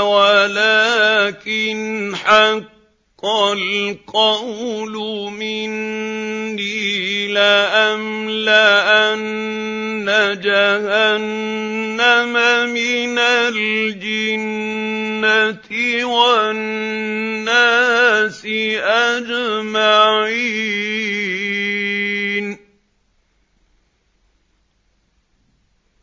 وَلَٰكِنْ حَقَّ الْقَوْلُ مِنِّي لَأَمْلَأَنَّ جَهَنَّمَ مِنَ الْجِنَّةِ وَالنَّاسِ أَجْمَعِينَ